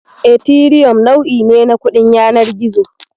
Etiriyom nau'i ne na kuɗin yanar gizo.